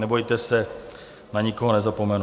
Nebojte se, na nikoho nezapomenu.